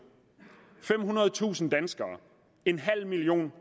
femhundredetusind danskere en halv million